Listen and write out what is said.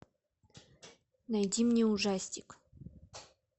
найди мне ужастик